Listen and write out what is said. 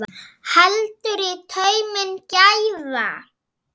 Heldur í tauminn gæfa.